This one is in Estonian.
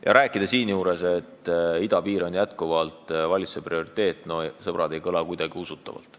Ja rääkida seejuures, et idapiir on valitsuse prioriteet – no, sõbrad, ei kõla kuidagi usutavalt.